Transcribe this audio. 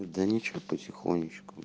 да ничего потихонечку